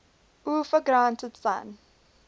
uefa granted san